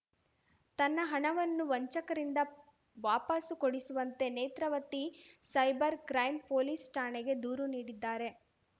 ತನ್ನ ಹಣವನ್ನು ವಂಚಕರಿಂದ ವಾಪಾಸು ಕೊಡಿಸುವಂತೆ ನೇತ್ರಾವತಿ ಸೈಬರ್‌ ಕ್ರೈಂ ಪೊಲೀಸ್‌ ಠಾಣೆಗೆ ದೂರು ನೀಡಿದ್ದಾರೆ